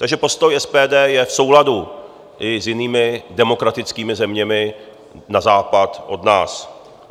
Takže postoj SPD je v souladu i s jinými demokratickými zeměmi na západ od nás.